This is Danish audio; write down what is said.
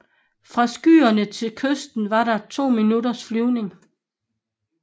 Fra skyen til kysten var der to minutters flyvning